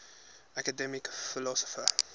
academic philosophers